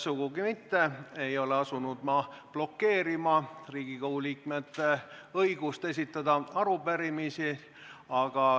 Sugugi mitte ei ole ma asunud blokeerima Riigikogu liikmete õigust esitada arupärimisi.